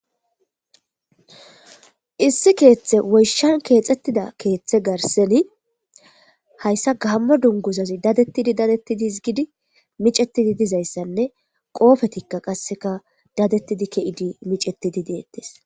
Issi keeththe woyshshan keexxettida keeththe garseni hayssa gamma dunguzazi dadettidi dadettidis hisgidi micetidi dizayssanne qoofetikka qasseka dadettidi ke'idi micetidi deettes